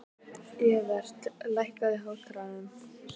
Evert, lækkaðu í hátalaranum.